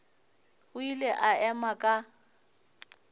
o ile a ema ka